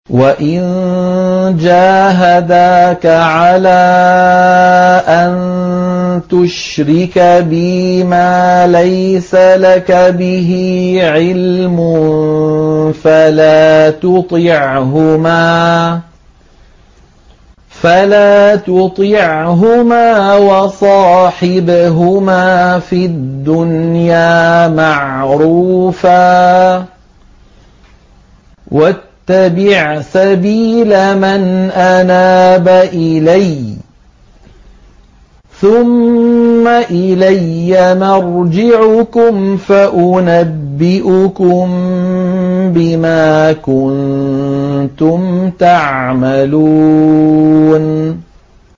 وَإِن جَاهَدَاكَ عَلَىٰ أَن تُشْرِكَ بِي مَا لَيْسَ لَكَ بِهِ عِلْمٌ فَلَا تُطِعْهُمَا ۖ وَصَاحِبْهُمَا فِي الدُّنْيَا مَعْرُوفًا ۖ وَاتَّبِعْ سَبِيلَ مَنْ أَنَابَ إِلَيَّ ۚ ثُمَّ إِلَيَّ مَرْجِعُكُمْ فَأُنَبِّئُكُم بِمَا كُنتُمْ تَعْمَلُونَ